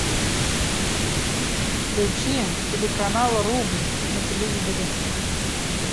включи телеканал рубль на телевизоре